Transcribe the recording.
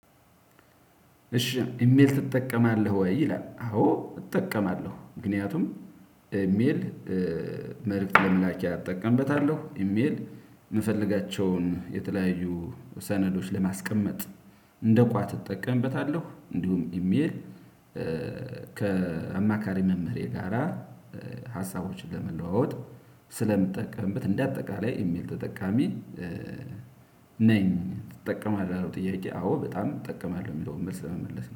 እሺ ኢሜል ትጠቀማለህ? ወይ ይላል? አዎ እጠቀማለሁ ምክንያቱም ኢሜል መልእክት ለመላኪያ አጠቀምበታለሁ። ኢሜል የምፈልጋቸውን የተለያዩ ሰነዶች ለማስቀመጥ እንደ ቋት እጠቀምበታለሁ። እንዲሁም ኢሜል ከአማካሪ መምህሬ ጋራ ሀሳቦችን ለመለዋወጥ ስለምጠቀምበት እንደ አጠቃላይ ኢሜል ተጠቃሚ። ነኝ ትጠቀማለህ ላለው ጥያቄ? አዎ በጣም እጠቀማለሁ የሚለውን መልስ ለመመለስ